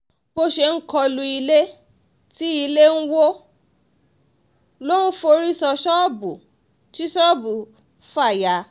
bó ṣe ń kọ lu ilé tí ilé ń wọ́ ló ń forí sọ ṣọ́ọ̀bù tí ṣọ́ọ̀bù ń fà ya